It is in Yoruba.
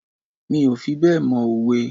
Mi ò fi bẹ́ẹ̀ mọ òwe.